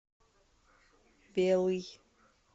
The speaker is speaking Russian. белый